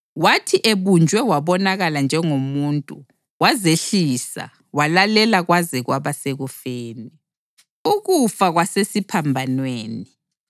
Wathi ebunjwe wabonakala njengomuntu, wazehlisa walalela kwaze kwaba sekufeni, ukufa kwasesiphambanweni!